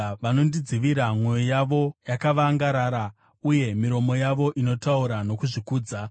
Vanodzivira mwoyo yavo yakavangarara, uye miromo yavo inotaura nokuzvikudza.